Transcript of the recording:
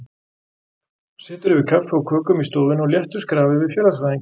Situr yfir kaffi og kökum í stofunni á léttu skrafi við félagsfræðinginn.